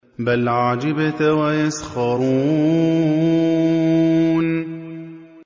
بَلْ عَجِبْتَ وَيَسْخَرُونَ